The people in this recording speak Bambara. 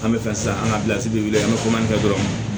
An bɛ fɛ sisan an ka an bɛ komanfɛ dɔrɔn